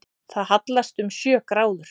Það hallast um sjö gráður